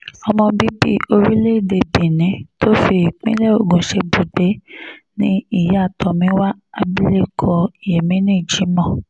ọmọ bíbí orílẹ̀‐èdè benin tó fi ìpínlẹ̀ ogun ṣebùgbé ni ìyá tomiwa abilékọ yemini jimoh